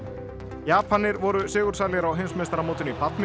Japanir voru sigursælir á heimsmeistaramótinu í badminton